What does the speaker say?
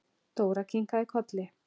Dóra kinkaði kolli.